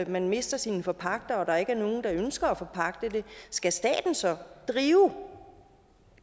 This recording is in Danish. man mister sine forpagtere og der ikke er nogen der ønsker at forpagte dem skal staten så drive